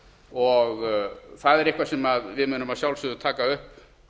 og það er eitthvað sem við munum að sjálfsögðu taka upp